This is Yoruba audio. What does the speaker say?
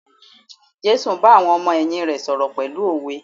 Jésù bá àwọn ọmọ ẹ̀yìn rè sọ̀rọ̀ pẹ̀lú òwe.